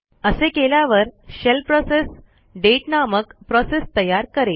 असे केल्यावर shell process दाते नामक प्रोसेस तयार करेल